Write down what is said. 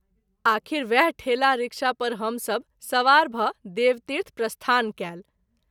आख़िर वएह ठेला रिक्शा पर हम सभ सवार भ’ देवतीर्थ प्रस्थान कएल।